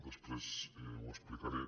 després ho explicaré